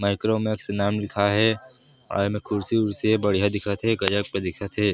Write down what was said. मिक्रोमक्स नाम लिखाये हे अउ कुर्सी वुरसी हे बढ़िया दिखत हे गजब के दिखत हे।